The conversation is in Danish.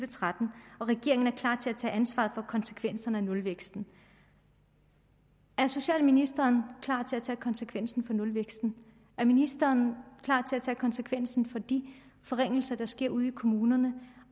og tretten og regeringen er klar til at tage ansvaret for konsekvenserne af nulvæksten er socialministeren klar til at tage konsekvenserne af nulvæksten er ministeren klar til at tage konsekvenserne af de forringelser der sker ude i kommunerne